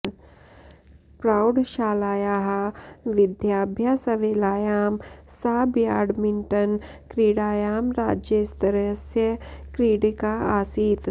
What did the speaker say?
प्रौढशालायाः विद्याभ्यासवेलायां सा ब्याड्मिण्टन् क्रीडायां राज्यस्तरस्य क्रीडिका आसीत्